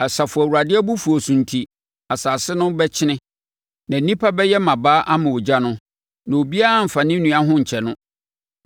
Asafo Awurade abufuo so enti, asase no bɛkyene na nnipa bɛyɛ mmabaa ama ogya no; na obiara remfa ne nua ho nkyɛ no.